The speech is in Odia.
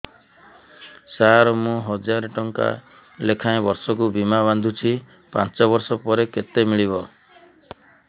ସାର ମୁଁ ହଜାରେ ଟଂକା ଲେଖାଏଁ ବର୍ଷକୁ ବୀମା ବାଂଧୁଛି ପାଞ୍ଚ ବର୍ଷ ପରେ କେତେ ମିଳିବ